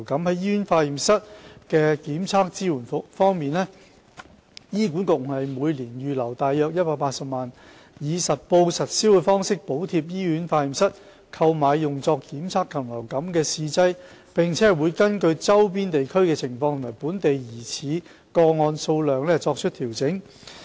在醫院化驗室的檢測支援方面，醫管局每年預留約180萬元，以實報實銷的方式補貼醫院化驗室購買用作檢測禽流感的試劑，並會根據周邊地區的情況及本地疑似個案數量作出調整。